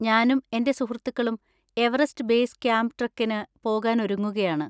ഞാനും എന്‍റെ സുഹൃത്തുക്കളും എവറസ്റ്റ് ബേസ് ക്യാമ്പ് ട്രെക്കിന് പോകാൻ ഒരുങ്ങുകയാണ്.